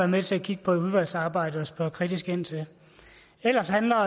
med til at kigge på i udvalgsarbejdet og spørge kritisk ind til ellers handler